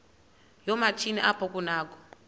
yoomatshini apho kunakho